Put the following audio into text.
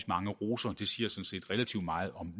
mange roser og det siger sådan set relativt meget om